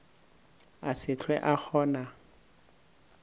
a se hlwe a kgona